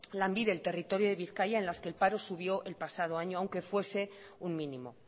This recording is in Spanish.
lanbide el territorio de bizkaia en las que el paro subió el pasado años aunque fuese un mínimo